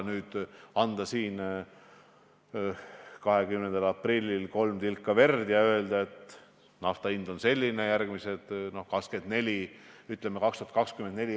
Minu küsimus on selle kohta, et kui taastuvenergia perspektiiv on väga hea ja need töökohad oleks selles valdkonnas väga head, siis miks te sinna riigi raha ei investeeri.